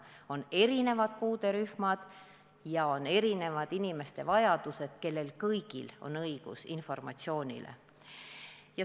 On ju erinevad puuderühmad ja inimestel on erinevad vajadused, kõigil on õigus informatsiooni saada.